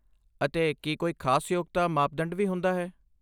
ਅਤੇ ਕੀ ਕੋਈ ਖ਼ਾਸ ਯੋਗਤਾ ਮਾਪਦੰਡ ਵੀ ਹੁੰਦਾ ਹੈ?